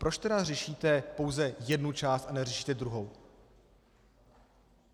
Proč tedy řešíte pouze jednu část a neřešíte druhou?